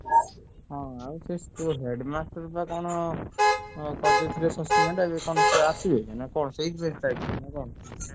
ହଁ ଆଉ ସେ headmaster ବା କଣ କରିଦେଇଥିଲେ suspend